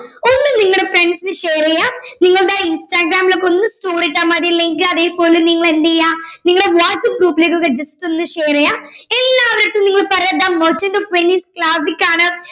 ഒന്ന് നിങ്ങളുടെ friends ന് share ചെയ്യുവാ നിങ്ങളുടെ ഇൻസ്റാഗ്രാമിലോക്കെ ഒന്ന് story ഇട്ടാ മതി link അതേപോലെ നിങ്ങൾ എന്തെയ്യ നിങ്ങടെ വാട്സ്ആപ് group ലൊക്കെ just ഒന്ന് share ചെയ്യ എല്ലാവരടുത്തും നിങ്ങള് പറയുവാ the merchant of Venice class ഇക്കാണ്